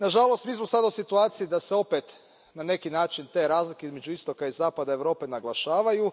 Nažalost, mi smo sada u situaciji da se opet na neki način te razlike između istoka i zapada Europe naglašavaju.